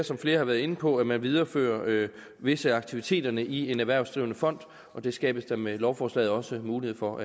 som flere har været inde på være at man videreførte visse aktiviteter i en erhvervsdrivende fond og det skabes der med lovforslaget også mulighed for